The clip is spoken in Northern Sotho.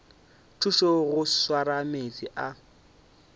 thuša go swara meetse a